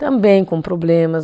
Também com problemas.